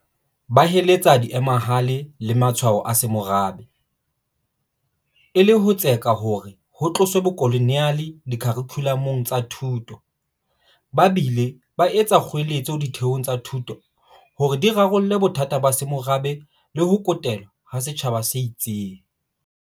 Ba heletsa diemahale le matshwao a semorabe, e le ho tseka hore ho tloswe bokoloniale dikharikhulamong tsa thuto, ba bile ba etsa kgoeletso ditheong tsa thuto hore di rarolle bothata ba semorabe le ho kotelwa ha setjhaba se itseng.